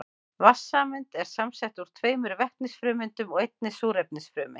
Vatnssameind eru samsett úr tveimur vetnisfrumeindum og einni súrefnisfrumeind.